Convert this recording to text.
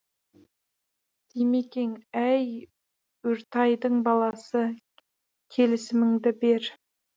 димекең әй үртайдың баласы келісіміңді бер